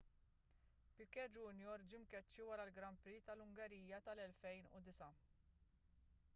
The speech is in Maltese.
piquet jr ġie mkeċċi wara l-grand prix tal-ungerija tal-2009